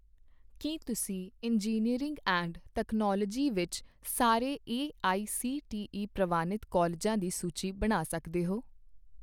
ਕੀ ਤੁਸੀਂ engineering and technology ਵਿੱਚ ਸਾਰੇ ਏਆਈਸੀਟੀਈ ਪ੍ਰਵਾਨਿਤ ਕਾਲਜਾਂ ਦੀ ਸੂਚੀ ਬਣਾ ਸਕਦੇ ਹੋ